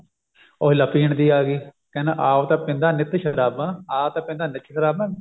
ਉਹੀ ਲੈ ਪੀਣ ਦੀ ਆਗੀ ਕਹਿੰਦਾ ਆਪ ਤਾਂ ਪੀਂਦਾ ਨਿੱਤ ਸ਼ਰਾਬਾਂ ਆਪ ਤਾਂ ਪੀਂਦਾ ਨਿੱਤ ਸ਼ਰਾਬਾਂ